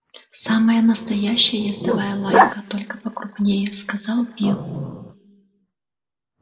самая настоящая ездовая лайка только покрупнее сказал билл